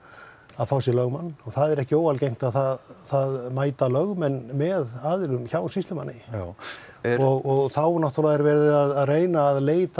að fá sér lögmenn og það er ekki óalgengt að mæta lögmönnum með aðilum hjá sýslumanni já og þá er náttúrulega er verið að reyna að leita